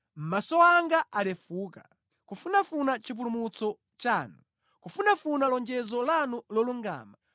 Maso anga alefuka, kufunafuna chipulumutso chanu, kufunafuna lonjezo lanu lolungama.